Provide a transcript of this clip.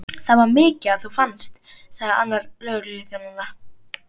Það var mikið að þú fannst, sagði annar lögregluþjónanna.